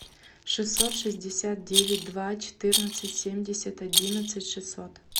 шестьсот шестьдесят девять два четырнадцать семьдесят одиннадцать шестьсот